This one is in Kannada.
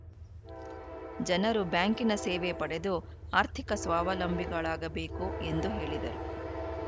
ಜನರು ಬ್ಯಾಂಕಿನ ಸೇವೆ ಪಡೆದು ಆರ್ಥಿಕ ಸ್ವಾವಲಂಬಿಗಳಾಗಬೇಕು ಎಂದು ಹೇಳಿದರು